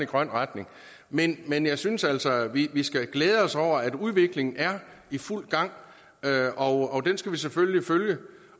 grøn retning men men jeg synes altså at vi skal glæde os over at udviklingen er i fuld gang og den skal vi selvfølgelig følge